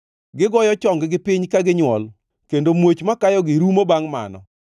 Gigoyo chonggi piny ka ginywol, kendo muoch makayogi rumo bangʼ mano.